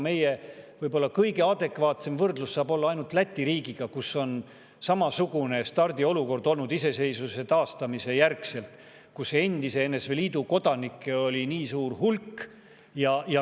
Meie kõige adekvaatsem võrdlus saab olla ainult Läti riigiga, kus oli samasugune stardiolukord iseseisvuse taastamise järgselt ning kus endise NSV Liidu kodanikke oli suur hulk.